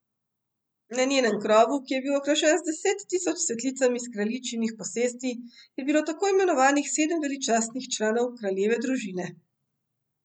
Ne njenem krovu, ki je bil okrašen z deset tisoč cvetlicami s kraljičinih posesti, je bilo tako imenovanih sedem veličastnih članov kraljeve družine.